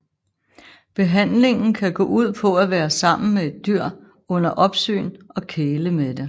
Behandlingen kan gå ud på at være sammen med et dyr under opsyn og kæle med det